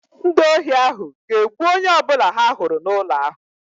Ndị ohi ahụ ga-egbu onye ọbụla ha hụrụ n'ụlọ ahụ